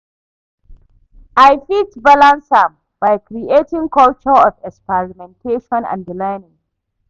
I fit balance am by creating culture of experimentation and di learning.